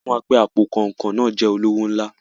Wọ́n sọ fún wa pé àpò kanrinkan náà jẹ́ olówó ńlá.